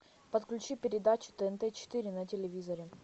подключи передачу тнт четыре на телевизоре